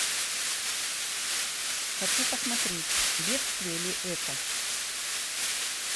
хочу посмотреть бедствие ли это